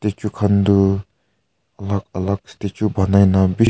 eto kan toh alak alak statue ponaibeh.